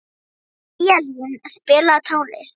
Eyjalín, spilaðu tónlist.